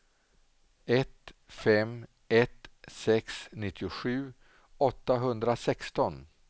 ett fem ett sex nittiosju åttahundrasexton